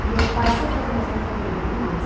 E meu pai sempre fazia umas brincadeirinhas.